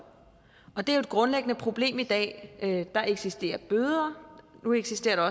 og det er jo et grundlæggende problem i dag der eksisterer bøder og nu eksisterer der